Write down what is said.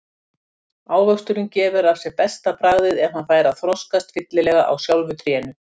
Ávöxturinn gefur af sér besta bragðið ef hann fær að þroskast fyllilega á sjálfu trénu.